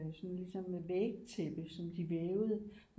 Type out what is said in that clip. Sådan ligesom vægtæppe som de vævede